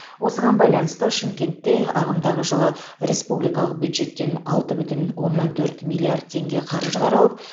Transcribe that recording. осыған байланысты шымкентте ағымдағы жылы республикалық бюджеттен алты бүтін оннан төрт миллиард теңге қаржы қаралып